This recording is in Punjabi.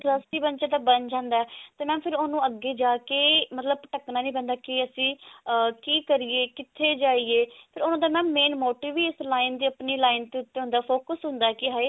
interest ਹ ਬੱਚੇ ਦਾ ਬਣ ਜਾਂਦਾ ਤੇ ਫ਼ੇਰ mam ਉਹਨੂੰ ਅੱਗੇ ਜਾ ਕਿ ਮਤਲਬ ਭਟਕਨਾ ਨੀ ਪੈਂਦਾ ਕੀ ਕਰੀਏ ਕਿੱਥੇ ਜਾਈਏ ਤੇ mam ਉਹਨਾਂ ਦਾ main motive ਹੀ ਇਸ line ਤੇ ਆਪਣੀ line ਤੇ ਉਤੇ ਹੁੰਦਾ focus ਹੁੰਦਾ ਕੀ ਹਾਏ